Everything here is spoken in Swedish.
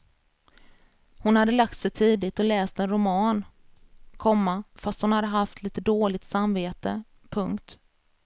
Hon hade lagt sig tidigt och läst en roman, komma fast hon haft litet dåligt samvete. punkt